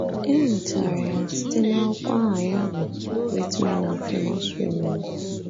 E nwetara ya site n’akwụkwọ aha ya bụ́ Great Men and Famous Women.